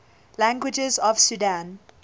languages of sudan